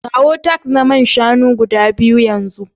Kawo tarts na man shanu guda biyu yanzu